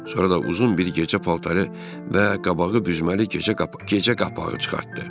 Sonra da uzun bir gecə paltarı və qabağı büzməli gecə papağı çıxartdı.